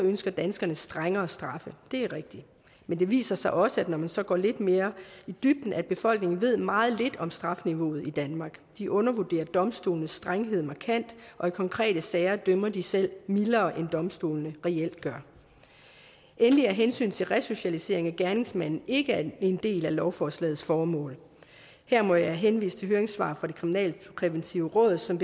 ønsker danskerne strengere straffe det er rigtigt men det viser sig også når man så går lidt mere i dybden at befolkningen ved meget lidt om strafniveauet i danmark de undervurderer domstolenes strenghed markant og i konkrete sager dømmer de selv mildere end domstolene reelt gør endelig er hensynet til resocialisering af gerningsmanden ikke en del af lovforslagets formål her må jeg henvise til høringssvar fra det kriminalpræventive råd som